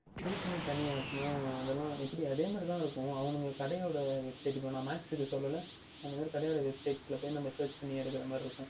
Shoe க்கு என்று தனி App அதில் எப்படி இதே மாதிரி தான் இருக்கும் அவர்கள் கடையை Website நான் Max க்கு சொல்லவில்லை அந்த மாதிரி கடை உடைய Website க்கு போய் Search பண்ணி எடுக்கின்ற மாதிரி இருக்கும்